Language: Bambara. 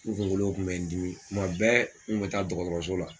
N kunkolow kun bɛ n dimi kuma bɛɛ n kun bɛ taa dɔgɔtɔrɔso la.